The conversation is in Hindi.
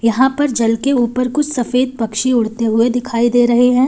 यहां पर जल के ऊपर कुछ सफेद पक्षी उड़ते हुए दिखाई दे रहे हैं।